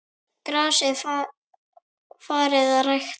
Grasið farið að grænka?